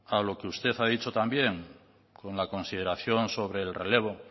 a lo que usted ha dicho también con la consideración sobre el relevo